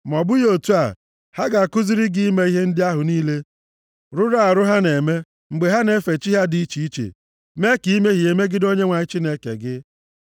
Ma ọ bụghị otu a, ha ga-akụziri gị ime ihe ndị ahụ niile rụrụ arụ ha na-eme mgbe ha na-efe chi ha dị iche iche, mee ka i mehie megide Onyenwe anyị Chineke gị.